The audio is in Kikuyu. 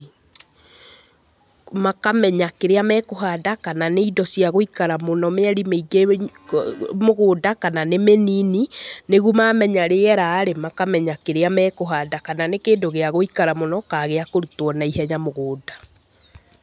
Makamenya kĩrĩa mekũhanda , kana nĩ indo cia gũikara mũno mĩeri mĩĩngĩ mũgũnda, kana nĩ mĩnini, nĩguo mamenya rĩera-rĩ, makamenya kĩrĩa mekũhanda. Kana nĩ kĩndũ gĩa gũikara mũno, ka gĩa kũrutwo naihenya mũgũnda.